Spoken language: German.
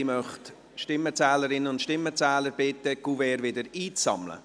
Ich möchte die Stimmenzählerinnen und Stimmenzähler bitten, die Kuverts wieder einzusammeln.